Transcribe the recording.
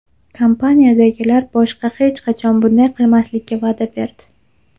Kompaniyadagilar boshqa hech qachon bunday qilmaslikka va’da berdi.